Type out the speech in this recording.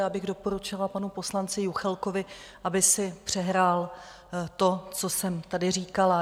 Já bych doporučila panu poslanci Juchelkovi, aby si přehrál to, co jsem tady říkala.